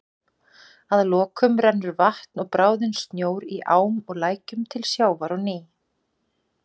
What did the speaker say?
Að lokum rennur vatn og bráðinn snjór í ám og lækjum til sjávar á ný.